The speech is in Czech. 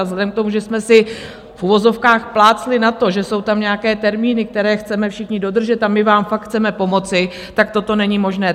A vzhledem k tomu, že jsme si v uvozovkách plácli na to, že jsou tam nějaké termíny, které chceme všichni dodržet, a my vám fakt chceme pomoci, tak toto není možné.